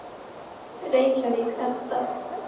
Reykjavík, Edda.